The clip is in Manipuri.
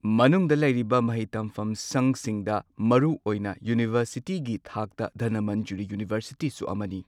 ꯃꯅꯨꯡꯗ ꯂꯩꯔꯤꯕ ꯃꯍꯩ ꯇꯝꯐꯝꯁꯪꯁꯤꯡꯗ ꯃꯔꯨꯑꯣꯏꯅ ꯌꯨꯅꯤꯚꯔꯁꯤꯇꯤꯒꯤ ꯊꯥꯛꯇ ꯙꯅꯃꯟꯖꯨꯔꯤ ꯌꯨꯅꯤꯚꯔꯁꯤꯇꯤ ꯁꯨ ꯑꯃꯅꯤ꯫